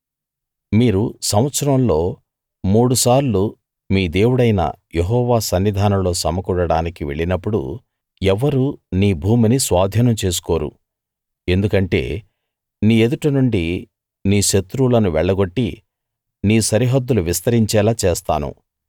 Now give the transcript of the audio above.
మీరు సంవత్సరంలో మూడు సార్లు మీ దేవుడైన యెహోవా సన్నిధానంలో సమకూడడానికి వెళ్ళినప్పుడు ఎవ్వరూ నీ భూమిని స్వాధీనం చేసుకోరు ఎందుకంటే నీ ఎదుట నుండి నీ శత్రువులను వెళ్లగొట్టి నీ సరిహద్దులు విస్తరించేలా చేస్తాను